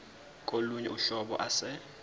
kolunye uhlobo ase